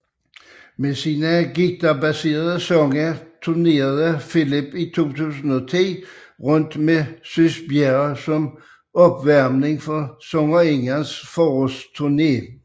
Med sine guitarbaserede sange turnerede Philip i 2010 rundt med Sys Bjerre som opvarmning for sangerindens forårsturne